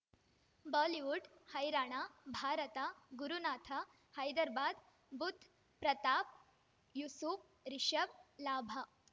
Bollywood ಹೈರಾಣ Bharat Gurunath Hyderabad Budh Pratap Yusuf Rishabh ಲಾಭ